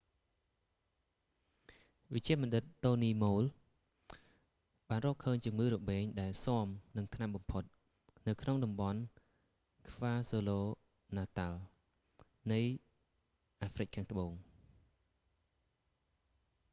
វេជ្ជបណ្ឌិត តូនី ម៉ូល dr tony moll បានរកឃើញជំងឺរបេងដែលស៊ាំនឹងថ្នាំបំផុត xdr-tb នៅក្នុងតំបន់ខ្វាស៊ូលូ ណាតាល់ kwazulu-natal នៃអាហ្វ្រិកខាងត្បូង